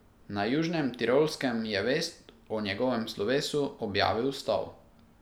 Na Južnem Tirolskem je vest o njegovem slovesu objavil Stol.